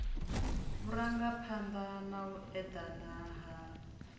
vhurangaphanda na u edana ha